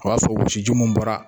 O b'a sɔrɔ wɔsiji mun bɔra.